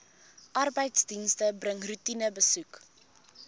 arbeidsdienste bring roetinebesoeke